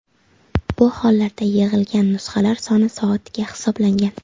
Bu holarda yig‘ilgan nusxalar soni soatiga hisoblangan.